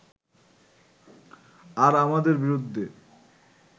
আর আমাদের বিরুদ্ধে